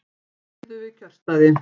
Biðu við kjörstaði